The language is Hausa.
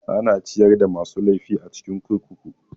Ana ciyar da masu laifi a cikin kurkuku.